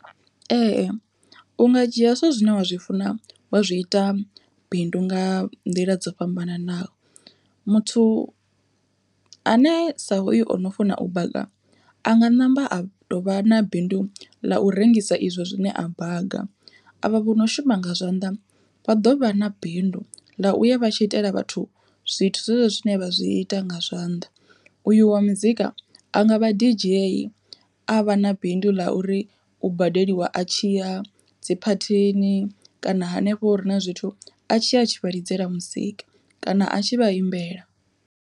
Ee u nga dzhia zwithu zwine wa zwi funa wa zwi ita bindu nga nḓila dzo fhambananaho, muthu ane sa hoyu ono funa u baga a nga ṋamba a tou vha na bindu ḽa u rengisa izwo zwine a baga. Avha vho no shuma nga zwanḓa vha ḓo vha na bindu ḽa u ya vha tshi itela vhathu zwithu zwezwo zwine vha zwi ita nga zwanḓa, uyu wa muzika a nga vha dj a vha na bindu ḽa uri u badeliwa a tshiya dzi phathini kana hanefho hure na zwithu a tshi ya a tshivha lidzela muzika kana a tshi vha imbela.